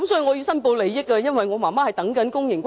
我要申報利益，我的母親正輪候公營龕位。